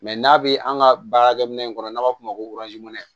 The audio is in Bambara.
Mɛ n'a bɛ an ka baarakɛ minɛn kɔnɔ n'a b'a f'o ma ko